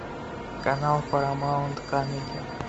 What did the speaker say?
канал парамаунт камеди